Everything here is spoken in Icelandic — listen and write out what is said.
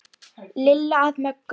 Lilla að Möggu.